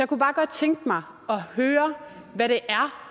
kunne bare godt tænke mig at høre hvad det er